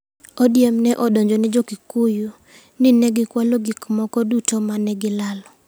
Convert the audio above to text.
ODM ne odonjone jo-Kikuyu ni ne gikwalo gik moko duto ma ne gilalo.